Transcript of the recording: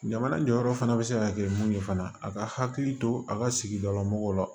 Jamana jɔyɔrɔ fana bɛ se ka kɛ mun ye fana a ka hakili to a ka sigida la mɔgɔw la